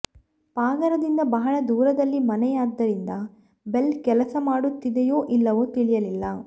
ಪಾಗಾರದಿಂದ ಬಹಳ ದೂರದಲ್ಲಿ ಮನೆಯಾದ್ದರಿಂದ ಬೆಲ್ ಕೆಲಸ ಮಾಡುತ್ತಿದೆಯೋ ಇಲ್ಲವೋ ತಿಳಿಯಲಿಲ್ಲ